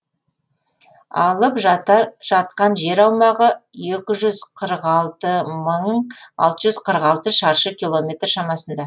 алып жатқан жер аумағы екі жүз қырық алты мың алты жүз қырық алты шаршы километр шамасында